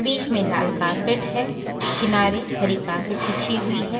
बीच में लाल कारपेट है किनारे हरी कारपेट बीछी हुई है।